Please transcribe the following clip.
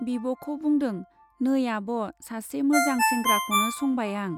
बिब' खौ बुंदों , नै आब', सासे मोजां सेंग्राखौनो संबाय आं।